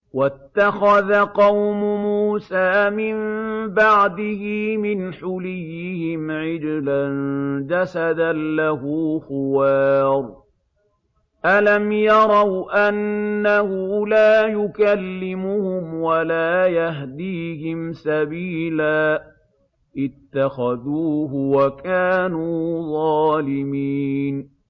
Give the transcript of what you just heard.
وَاتَّخَذَ قَوْمُ مُوسَىٰ مِن بَعْدِهِ مِنْ حُلِيِّهِمْ عِجْلًا جَسَدًا لَّهُ خُوَارٌ ۚ أَلَمْ يَرَوْا أَنَّهُ لَا يُكَلِّمُهُمْ وَلَا يَهْدِيهِمْ سَبِيلًا ۘ اتَّخَذُوهُ وَكَانُوا ظَالِمِينَ